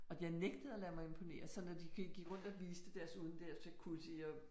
Og jeg nægtede at lade mig imponere, så når de gik rundt og viste deres udendørs jacuzzi og